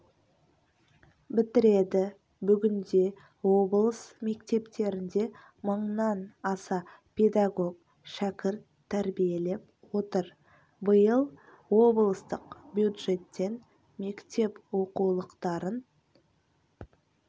бітіреді бүгінде облыс мектептерінде мыңнан аса педагог шәкірт тәрбиелеп отыр биыл облыстық бюджеттен мектеп оқулықтарын